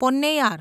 Ponnaiyar